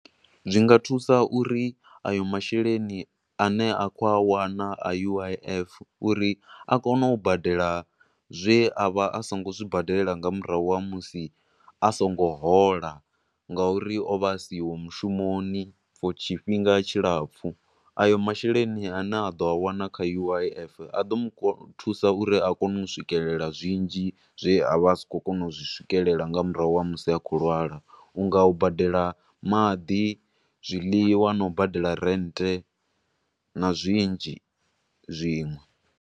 Zwinga thusa uri a yo masheleni a ne a kho a wana a U_I_F uri a kone u badela zwe a vha a songo zwi badelela nga murahu ha musi a songo hola, ngo uri o vha a siho mushumoni for tshifhinga tshilapfu, ayo masheleni a ne a ḓo a wana kha U_I_F a do mu thusa u ri a kone u swikelela zwinzhi zwe a vha a si khou kona u zwi swikelela nga murahu ha musi a khou lwala, unga u badela maḓi, zwiḽiwa, na u badela renthe, na zwinzhi zwinwe.